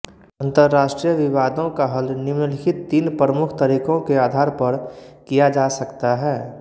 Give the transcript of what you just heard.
अंतरराष्ट्रीय विवादों का हल निम्नलिखित तीन प्रमुख तरीकों के आधार पर किया जा सकता है